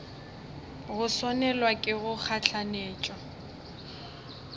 go swanelwa ke go gahlanetšwa